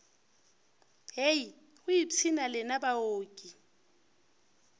hei go ipshina lena baoki